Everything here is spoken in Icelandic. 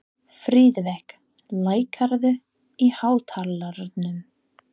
Friðveig, lækkaðu í hátalaranum.